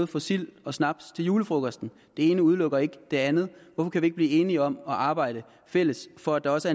få sild og snaps til julefrokosten det ene udelukker ikke det andet hvorfor kan vi ikke blive enige om at arbejde fælles for at der også